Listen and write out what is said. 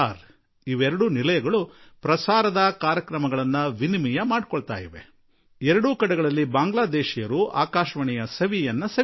ಅವು ಪರಸ್ಪರ ಕಾರ್ಯಕ್ರಮ ಹಂಚಿಕೊಳ್ಳುತ್ತವೆ ಮತ್ತು ಎರಡೂ ಕಡೆಯ ಬಾಂಗ್ಲಾ ಭಾಷೆ ಮಾತನಾಡುವವರು ಆಕಾಶವಾಣಿಯ ಆನಂದ ಸವಿಯುವರು